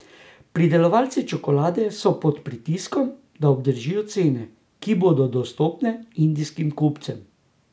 Pridelovalci čokolade so pod pritiskom, da obdržijo cene, ki bodo dostopne indijskim kupcem.